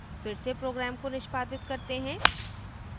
फिर से program को निष्पादित करते हैं